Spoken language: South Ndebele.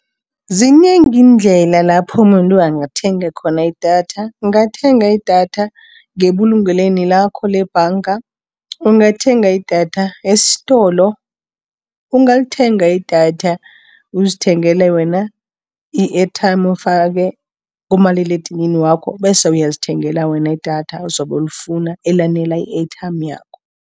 Zinengi iindlela lapho umuntu angathenga khona idatha. Ungathenga idatha ngebulungelweni lakho lebhanga, ungathenga idatha esitolo. Ungalithenga idatha, uzithengele wena i-airtime ufake kumaliledinini wakho, bese uyazithengela wena idatha ozobe ulifuna elanela i-airtime yakho.